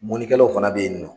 Mɔnikɛlaw fana bɛ yen nin nɔ.